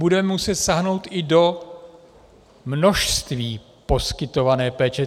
Budeme muset sáhnout i do množství poskytované péče.